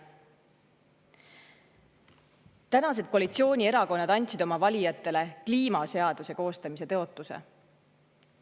Tänased koalitsioonierakonnad andsid oma valijatele kliimaseaduse koostamise tõotuse.